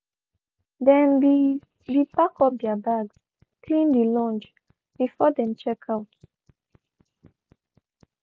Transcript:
dem be be packed up their bags cleaned dey lounge before dem check out.